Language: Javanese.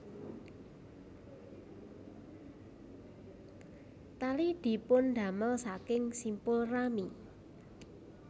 Tali dipundamel saking simpul rami